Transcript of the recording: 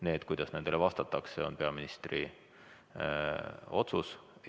See, kuidas nendele vastatakse, on peaministri otsus.